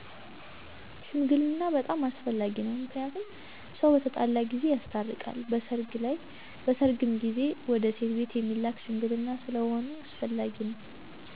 ሽምግልና' በጣም አስፈላጊ ነው ምክንያቱም ሰው በተጣላ ጊዜ ያስታርቃል በሰርጌ ጊዜ ወደ ሴት ቤት እሚላክ ሽምግልና ስለሁነ አስፈላጊ ነው።